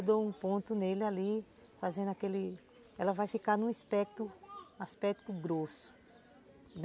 Eu dou um ponto nele ali, fazendo aquele... Ela vai ficar num aspecto, aspecto grosso.